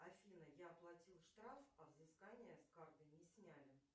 афина я оплатила штраф а взыскание с карты не сняли